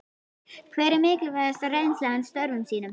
Hver er mikilvægasta reynsla hans af störfum sínum?